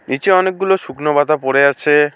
নীচে অনেকগুলো শুকনো পাতা পড়ে আছে।